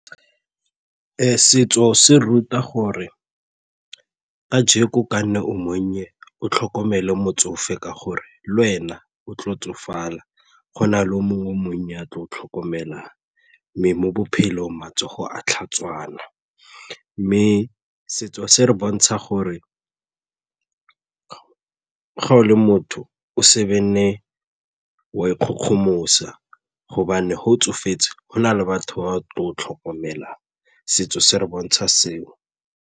Setso se ruta gore kajeko kanne o monnye o tlhokomele motsofe ka gore lwena o tlo tsofala go na le o mongwe monnye yo a tla o tlhokomela mme mo bophelong matsogo a tlhatswana mme setso se re bontsha gore ga o le motho o se be nne wa ikgogomosa gobane ga o tsofetse go na le batho ba tlo o tlhokomelang, setso se re bontsha seo.